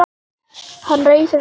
Hann reisir sig upp.